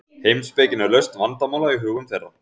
heimspekin er lausn vandamála í hugum þeirra